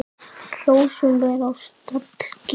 Hrossum er á stall gefið.